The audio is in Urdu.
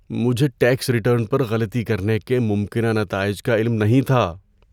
مجھے ٹیکس ریٹرن پر غلطی کرنے کے ممکنہ نتائج کا علم نہیں تھا۔